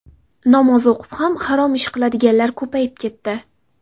Namoz o‘qib ham harom ish qiladiganlar ko‘payib ketdi.